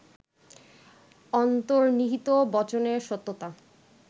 অন্তর্নিহিত বচনের সত্যতা